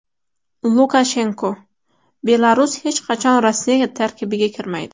Lukashenko: Belarus hech qachon Rossiya tarkibiga kirmaydi.